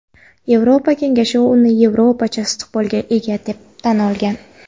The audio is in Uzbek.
Yevropa Kengashi uni "Yevropacha istiqbolga ega" deb tan olgan.